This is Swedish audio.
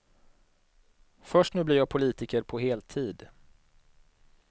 Först nu blir jag politiker på heltid.